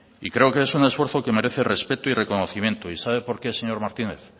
y creo que es un esfuerzo que merece respeto y reconocimiento y sabe por qué señor martínez